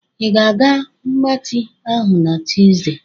Ị ga-aga mgbatị ahụ na Tuzdee?